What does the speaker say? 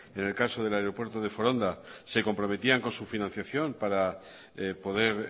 en el caso del aeropuerto de foronda se comprometían con su financiación para poder